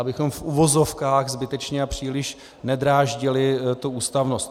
Abychom v uvozovkách zbytečně a příliš nedráždili tu ústavnost.